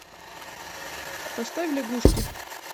поставь лягушки